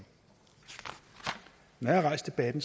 når jeg har rejst debatten